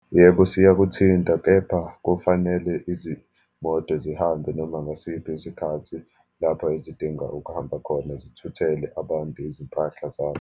Yebo siyakuthinta, kepha kufanele izimoto zihambe noma ngasiphi isikhathi lapho ezidinga ukuhamba khona, zithuthele abantu izimpahla zabo.